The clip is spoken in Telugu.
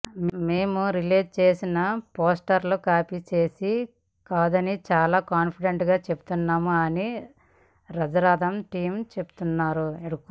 మేం రిలీజ్ చేసిన పోస్టర్ కాపీ చేసింది కాదని చాలా కాన్ఫిడెంట్గా చెప్తున్నాం అని రాజరథం టీమ్ పేర్కొన్నారు